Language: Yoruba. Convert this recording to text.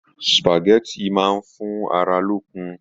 Supágẹ̀tì máa fún ará lókun.